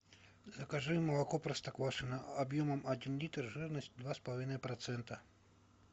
закажи молоко простоквашино объемом один литр жирность два с половиной процента